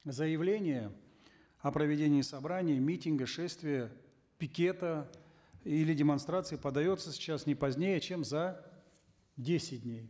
заявление о проведении собрания митинга шествия пикета или демонстрации подается сейчас не позднее чем за десять дней